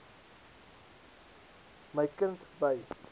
my kind by